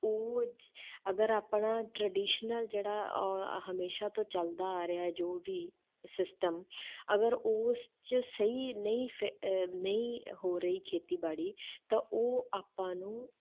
ਉਹ ਅਗਰ ਆਪਣਾ traditional ਜਿਹੜਾ ਉਹ ਆਹ ਹਮੇਸ਼ਾ ਤੋਂ ਚੱਲਦਾ ਆ ਰਿਹਾ ਜੋ ਵੀ system ਅਗਰ ਉਸ 'ਚ ਸਹੀ ਨਹੀਂ ਫਿ~ ਅਹ ਨਹੀਂ ਹੋ ਰਹੀ ਖੇਤੀਬਾੜੀ ਤਾਂ ਉਹ ਆਪਾਂ ਨੂੰ,